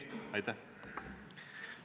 Siiralt!!